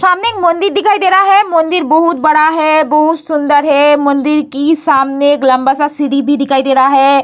सामने एक मंदिर दिखाई दे रहा है मंदिर बहुत बड़ा है बहुत सुंदर है मंदिर के सामने एक लम्बा-सा सीढ़ी भी दिखाई दे रहा है।